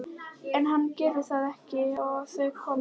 En hann gerir það ekki og þau koma heim.